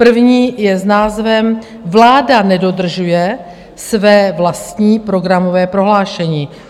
První je s názvem Vláda nedodržuje své vlastní programové prohlášení.